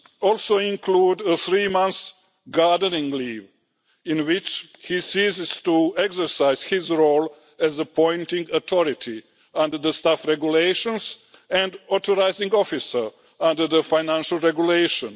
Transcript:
also include three months' gardening leave' in which he ceases to exercise his role as appointing authority under the Staff Regulations and authorising officer under the Financial Regulation.